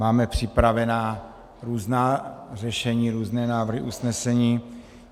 Máme připravená různá řešení, různé návrhy usnesení.